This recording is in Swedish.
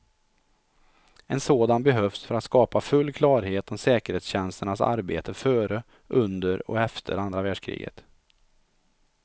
En sådan behövs för att skapa full klarhet om säkerhetstjänsternas arbete före, under och efter andra världskriget.